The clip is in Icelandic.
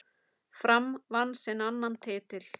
Fram vann sinn annan titil.